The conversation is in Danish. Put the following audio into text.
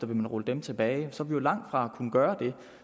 vil man rulle dem tilbage så er vi jo langt fra at kunne gøre det